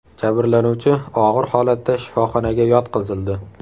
Jabrlanuvchi og‘ir holatda shifoxonaga yotqizildi.